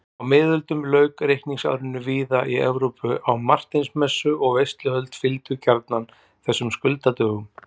Á miðöldum lauk reikningsárinu víða í Evrópu á Marteinsmessu og veisluhöld fylgdu gjarnan þessum skuldadögum.